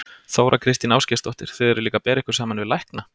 Þóra Kristín Ásgeirsdóttir: Þið eruð líka að bera ykkur saman við lækna?